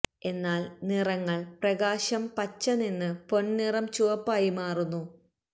എന്നാൽ നിറങ്ങൾ പ്രകാശം പച്ച നിന്ന് പൊൻ നിറം ചുവപ്പായി മാറുന്നു